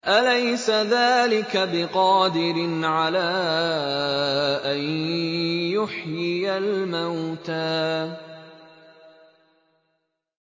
أَلَيْسَ ذَٰلِكَ بِقَادِرٍ عَلَىٰ أَن يُحْيِيَ الْمَوْتَىٰ